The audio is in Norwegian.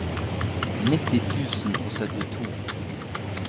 nitti tusen og syttito